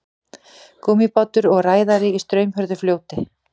Gúmmíbátur og ræðari í straumhörðu fljóti.